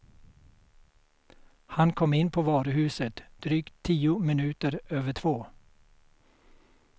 Han kom in på varuhuset drygt tio minuter över två.